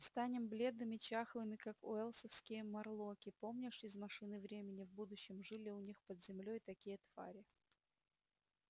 станем бледными чахлыми как уэллсовские морлоки помнишь из машины времени в будущем жили у них под землёй такие твари